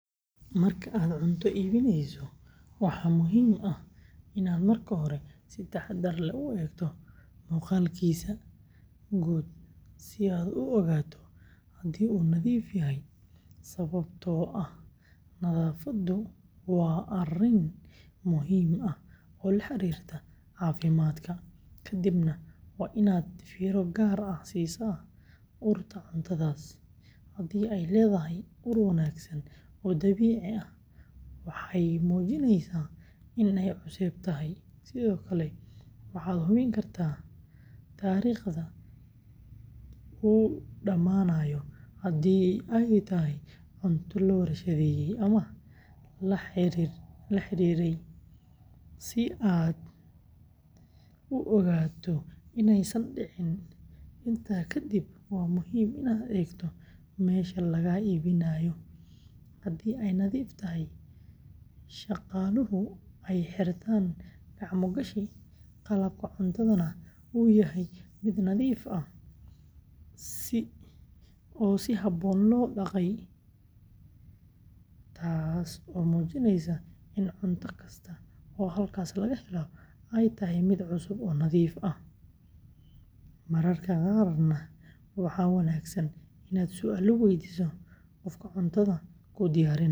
Marka aad cunto iibsaneyso, waxa muhiim ah inaad marka hore si taxaddar leh u eegto muuqaalkiisa guud si aad u ogaato haddii uu nadiif yahay, sababtoo ah nadaafaddu waa arrin muhiim ah oo la xiriirta caafimaadka, kadibna waa inaad fiiro gaar ah siisaa urta cuntadaas, haddii ay leedahay ur wanaagsan oo dabiici ah, waxay muujinaysaa in ay cusub tahay, sidoo kale, waxaad hubin kartaa taariikhda uu dhammaanayo haddii ay tahay cunto la warshadeeyey ama la xidhxidhay, si aad u ogaato inaysan dhicin, intaa ka dib waa muhiim inaad eegto meesha laga iibinayo, haddii ay nadiif tahay, shaqaaluhu ay xirtaan gacmo gashi, qalabka cuntadana uu yahay mid nadiif ah oo si habboon loo dhaqay, taas oo muujinaysa in cunto kasta oo halkaas laga helo ay tahay mid cusub oo nadiif ah, mararka qaarna waxa wanaagsan inaad su’aalo waydiiso qofka cuntada kuu diyaarinaya.